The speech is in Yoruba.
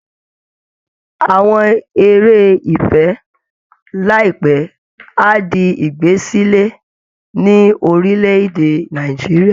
Àwọn eré ìfẹ́ láìpẹ́ á di ìgbẹ́sẹ̀lé ní orílẹ̀ èdè Nàìjíríà